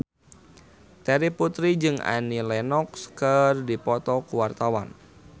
Terry Putri jeung Annie Lenox keur dipoto ku wartawan